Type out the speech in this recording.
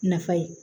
Nafa ye